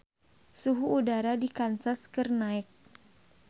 Suhu udara di Kansas keur naek